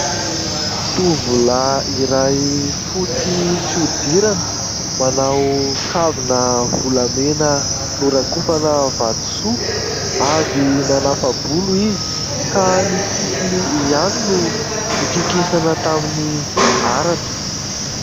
Tovolahy iray fotsy fihodirana. Manao kavina volamena norakofana vatosoa. Avy nanapa-bolo izy ka ny sisiny ihany no nokikisana tamin'ny haratra.